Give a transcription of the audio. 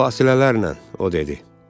Fasilələrlə, o dedi.